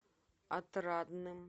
отрадным